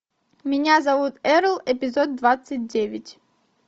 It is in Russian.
меня зовут эрл эпизод двадцать девять